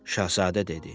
Şahzadə dedi.